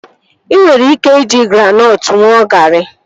Ị nwere ike iji granọtụ ṅụọ garị